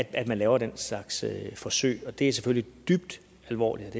at man laver den slags forsøg er selvfølgelig dybt alvorligt